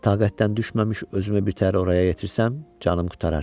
Taqətdən düşməmiş özümü bir təhər oraya yetirsəm, canım qurtarar.